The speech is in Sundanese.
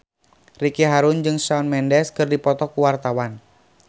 Ricky Harun jeung Shawn Mendes keur dipoto ku wartawan